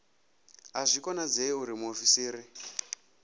a zwi konadzei uri muofisiri